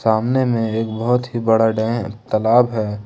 सामने में एक बहुत ही बड़ा डैम तालाब है।